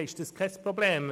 Dann ist es kein Problem.